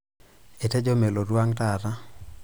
Etejo melotu ang' taata.